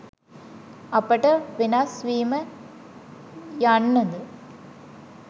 අපට වෙනස් වීම යන්න ද